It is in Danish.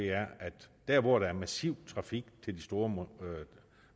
er at der hvor der er massiv trafik til de store